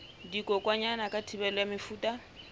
dikokwanyana ka thibelo ya mefuta